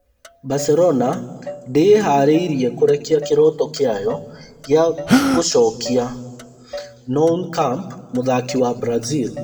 Barcelona ndĩĩharĩirie kũrekia kĩroto kĩayo gĩa gũcokia Nou Camp mũthaki wa Brazil